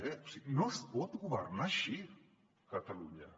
o sigui no es pot governar així catalunya